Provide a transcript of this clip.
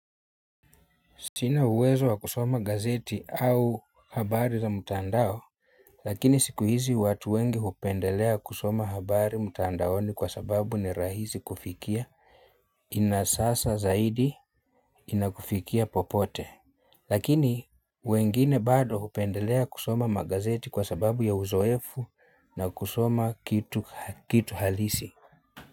Sina uwezo wa kusoma gazeti au habari za mtandao lakini siku hizi watu wengi hupendelea kusoma habari mtandaoni kwa sababu ni rahisi kufikia ina sasa zaidi inakufikia popote lakini, wengine bado hupendelea kusoma magazeti kwa sababu ya uzoefu na kusoma kitu halisi.